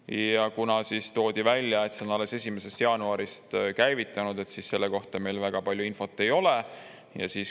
Ja kuna toodi välja, et see on alles 1. jaanuarist käivitunud, siis selle kohta meil väga palju infot ei ole.